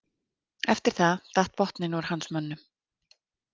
Eftir það datt botninn úr hans mönnum.